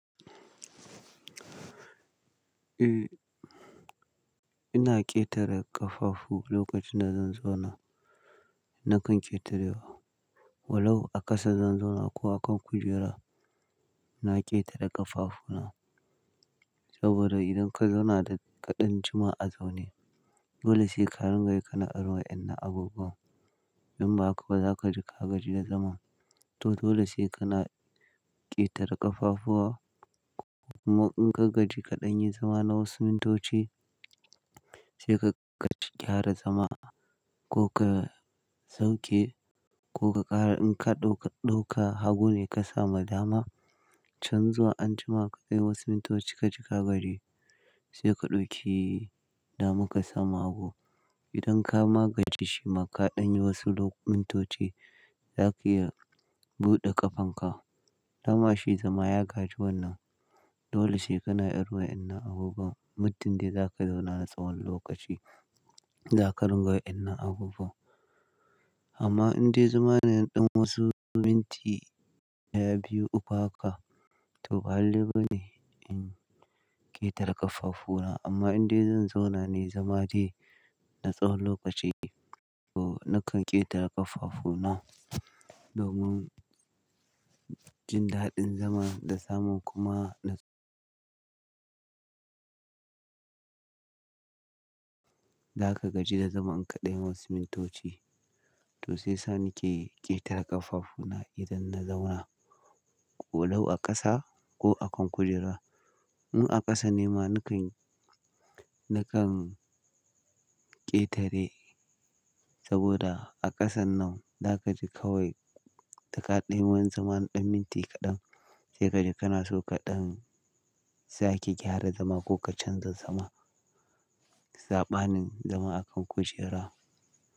Eh, ina ƙetare ƙafafu lokacin da zan zauna. Nakan ƙetarewa. Walau a ƙasa zan zauna ko a kan kujera, na ƙetare ƙafafuna. Saboda idan ka zauna da kaɗan jima a zaune, dole sai ka ringa yi ka na irin wadannan abubuwan. In ba haka za ka ji ka gaji da zama. Toh, dole sai ka na ƙetare ƙafafuwa. Amma in ka gaji kaɗan yi zama na wasu mintoci, sai ka gyara zama ko ka sauke ko ka ƙara. In ka ɗauka hagu ne ka sama dama, can zuwa anjima ko wasu mintoci ka ji ka gaji, sai ka ɗauki daman ka samu hagu. Idan ka magance shi ma kaɗan yi wasu lok- mintoci, za ka iya buɗe ƙafanka. Dama shi zama ya gaji wannan. Dole sai kana irin wayannan abubbuwan Muddin dai za ka zauna na tsawon lokaci, za karinga wayannan abubuwan amma indai zama ne ɗan wasu minti ɗaya, biyu, uku haka, to balalleil ba ne in ƙetare ƙafafuna. Amma indai zan zauna ne zamani na tsawon lokaci, to nakan ƙetare ƙafafuna domin jin daɗin zama da samun kuma na Za ka gaji da zama in kaɗai wasu mintoci. Dama ka sama hagu. Idan ka magance shi ma kaɗan yi wasu mintoci, za ka iya buɗe ƙafanka. Walau a ƙasa ko a kan kujera. In a ƙasa ne ma nakan, nakan ƙetare saboda a ƙasan nan za ka ji kawai da kaɗai wani zama na ɗan minti kaɗan, sai ka ji kana so kaɗan sai ke gyara zama ko ka canza zama. Saɓanin zama a kan kujera.